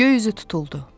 Göy üzü tutuldu.